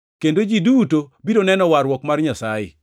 Kendo ji duto biro neno warruok mar Nyasaye.’ ”+ 3:6 \+xt Isa 40:3-5\+xt*